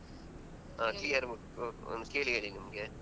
ಹ್ಮ ಒಂದ್ ಕೇಳಿ ಹೇಳಿ ನಮ್ಗೆ.